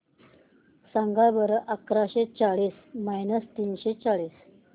सांगा बरं अकराशे चाळीस मायनस तीनशे चाळीस